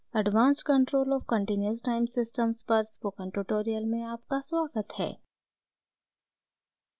advanced control of continuous time systems पर spoken tutorial में आपका स्वागत है